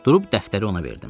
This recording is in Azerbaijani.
Durub dəftəri ona verdim.